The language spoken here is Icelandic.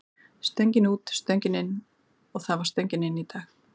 Stöngin út, stöngin inn og það var stöngin inn í dag.